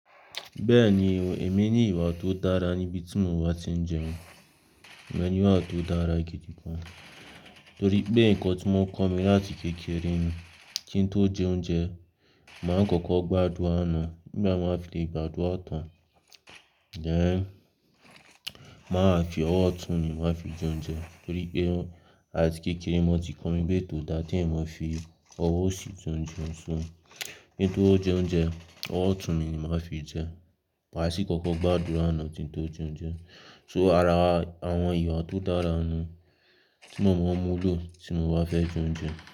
Bẹ́ẹ̀ni, èmi ní ìwà tó dára níbi tí mo bá ti ń jẹun. Ìmọ ní ìwà tó dára gidigan, torí pé nǹkan tí wọ́n kọ́ mi láti kékeré ni kí n tó jẹ oúnjẹ, màá kọ́kọ́ gbádùrà na. Nígbà tí màá fi lè gbádùrà tán, tọ́ ẹ́n, màá fi ọwọ́ ọ̀tún mi màá fi jẹ oúnjẹ torí pé áti kékeré wọ́n ti kọ́ mi pé ko da keyan mọ fi ọwọ́ òsì tuntun sun. Kin tó jẹ oúnjẹ, ọwọ́ ọ̀tún mi ni màá fi jẹ maà ṣí kọ́kọ́ gbádùrà na tí n tó jẹ oúnjẹ. To ara àwọn ìwà tó dára nù tí mo má n múlò tí mo bá fẹ́ jẹ oúnjẹ.